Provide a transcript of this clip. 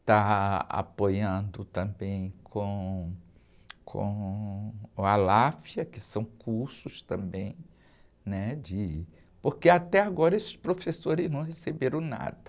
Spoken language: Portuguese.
está apoiando também com, com o, que são cursos também, né? De... Porque até agora esses professores não receberam nada.